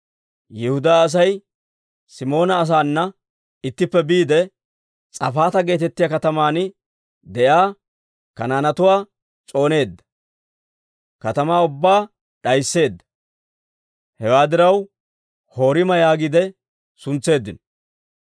Yihudaa Asay Simoona asaana ittippe biide, S'afaata geetettiyaa kataman de'iyaa Kanaanetuwaa s'ooneedda; katamaa ubbaa d'aysseedda. Hewaa diraw Horima yaagiide suntseeddino.